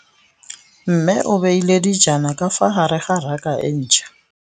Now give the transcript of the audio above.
Mmê o beile dijana ka fa gare ga raka e ntšha.